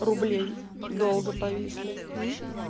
рублей долго повисли